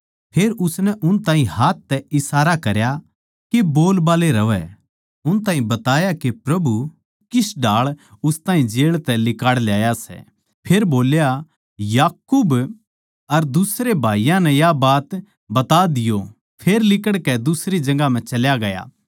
फेर उसनै उन ताहीं हाथ तै इशारा करया के बोलबाल्ले रहवैं अर उन ताहीं बताया के प्रभु किस ढाळ उस ताहीं जेळ तै लिकाड़ ल्याया सै फेर बोल्या याकूब अर दुसरे भाईयाँ नै या बात बता दियो फेर लिकड़कै दुसरी जगहां चल्या गया